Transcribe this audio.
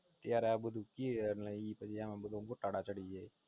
ત્યારે આ બધું કિયે અને ઈ પછી આમ બધા ગોટાળા ચડીજાય